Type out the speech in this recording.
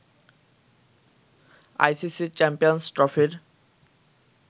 ICC champions ট্রফির